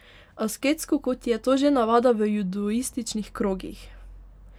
Asketsko, kot je to že navada v judoističnih krogih.